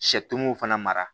fana mara